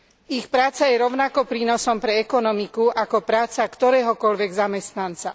Ich práca je rovnako prínosom pre ekonomiku ako práca ktoréhokoľvek zamestnanca.